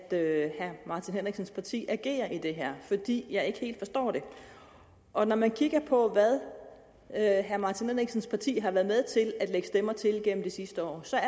herre martin henriksens parti agerer i det her fordi jeg ikke helt forstår det og når man kigger på hvad herre martin henriksens parti har været med til at lægge stemmer til igennem det sidste år ser